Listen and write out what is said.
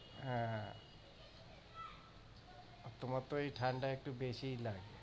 আহ আর তোমার তো এই ঠাণ্ডা একটু বেশিই লাগে।